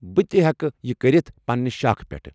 بہٕ تہِ ہیٚکہٕ یہِ کٔرِتھ پننہِ شاخہٕ پیٚٹھ۔